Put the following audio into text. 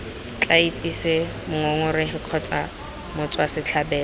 tla itsise mongongoregi kgotsa motswasetlhabelo